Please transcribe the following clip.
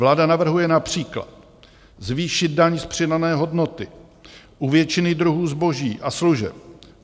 Vláda navrhuje například zvýšit daň z přidané hodnoty u většiny druhů zboží a služeb.